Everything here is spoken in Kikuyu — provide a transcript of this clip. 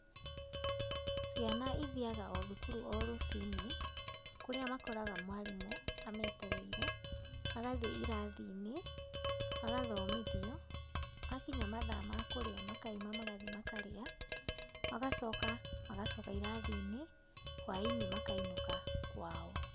Ciana ithiaga o thukuru, o rũcinĩ, kũrĩa makoraga mwarimũ ametereire, magathiĩ irathi-inĩ, magathomithio, makinya mathaa ma kũrĩ makaima magathiĩ makarĩa, magacoka, magacoka irathi-inĩ, hwainĩ makainũka kwao.